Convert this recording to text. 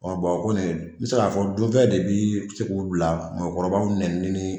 o kɔnin ye, n bi se k'a fɔ, dunfɛ de bi se k'u la mɔgɔkɔrɔbaw nenni